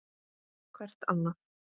Hvert annað.